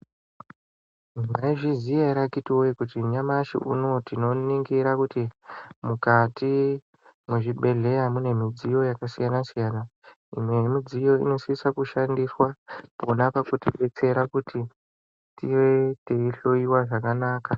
Maizviziya ere akiti woye, kuti nyamashi uno uyu tinoningira kuti mukati mwezvibhedhleya mune midziyo yakasiyana siyana? Imwe yemidziyo inosisa kushandiswa pona pekutibetsera kuti tive teihloyiwa zvakanaka.